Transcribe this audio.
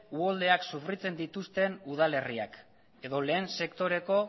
uholdeak sofritzen dituzten udal herriak edo lehen sektoreko